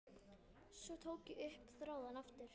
Svo tók ég upp þráðinn aftur.